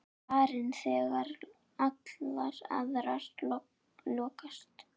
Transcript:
Farin þegar allar aðrar lokast.